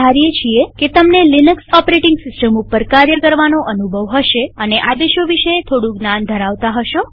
અમે ધારીએ છીએ કે તમને લિનક્સ ઓપરેટીંગ સિસ્ટમ ઉપર કાર્ય કરવાનો અનુભવ હશે અને આદેશો વિશે થોડું જ્ઞાન ધરાવતા હશો